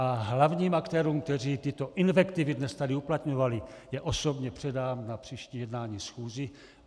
A hlavním aktérům, kteří tyto invektivy dnes tady uplatňovali, ji osobně předám na příští jednání schůze.